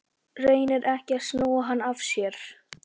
Reynir ekki að snúa hann af sér.